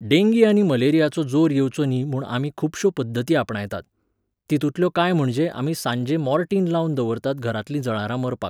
Dengue आनी मलेरियाचो जोर येवचो न्ही म्हूण आमी खुबश्यो पद्दती आपणायतात. तितूंतल्यो कांय म्हणजे आमी सांजें मोर्टिन लावन दवरतात घरांतलीं जळारां मारपाक